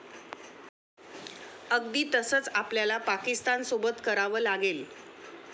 अगदी तसंच आपल्याला पाकिस्तानसोबत करावं लागेल.